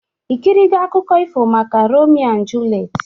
Ikirigo akụkọ ifo maka Romio na Julet?